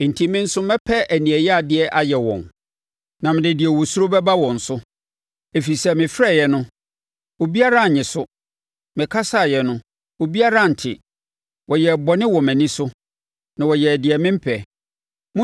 enti me nso mɛpɛ aniɛyaadeɛ ayɛ wɔn na mede deɛ wɔsuro bɛba wɔn so. Ɛfiri sɛ mefrɛeɛ no, obiara annye so, mekasaeɛ no, obiara antie. Wɔyɛɛ bɔne wɔ mʼani so na wɔyɛɛ deɛ mempɛ.”